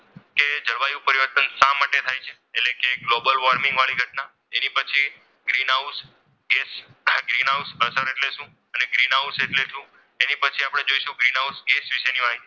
કે જળવાયુ પરિવર્તન શા માટે થાય છે એટલે કે ગ્લોબલ વોર્મિંગ વાળી ઘટના જેને પછી ગ્રીન હાઉસ ગ્રીન હાઉસ અસર એટલે શું ગ્રીનહાઉસ એટલે શું તે પછી આપણે જોઇશું ગ્રીનહાઉસ વિશેની માહિતી.